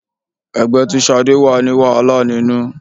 Ẹgbẹ́ tí Ṣadé wà ní wàhálà nínú.